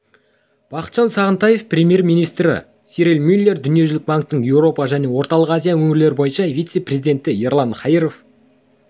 бақытжан сағынтаев премьер-министрі сирил мюллер дүниежүзілік банктің еуропа және орталық азия өңірлері бойынша вице-президенті ерлан хаиров